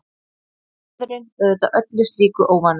Maðurinn auðvitað öllu slíku óvanur.